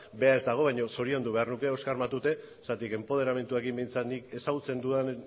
bera ez dago baina zoriondu beharko nuke oskar matute zergatik enpoderamenduarekin nik behintzat ezagutzen dudan